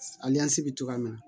bɛ cogoya min na